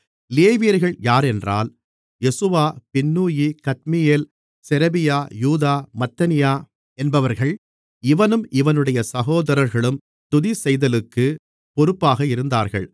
லேவியர்கள் யாரென்றால் யெசுவா பின்னூயி கத்மியேல் செரெபியா யூதா மத்தனியா என்பவர்கள் இவனும் இவனுடைய சகோதரர்களும் துதிசெய்தலுக்கு பொறுப்பாக இருந்தார்கள்